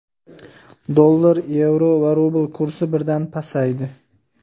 Dollar, yevro va rubl kursi birdan pasaydi.